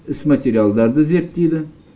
іс материалдарды зерттейді